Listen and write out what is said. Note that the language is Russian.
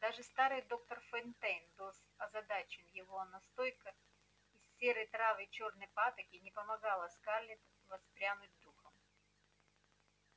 даже старый доктор фонтейн был озадачен его настойка из серы трав и чёрной патоки не помогала скарлетт воспрянуть духом